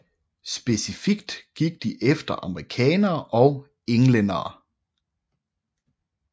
Specifikt gik de efter amerikanere og englændere